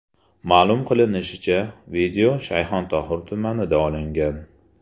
Ma’lum qilinishicha, video Shayxontohur tumanida olingan.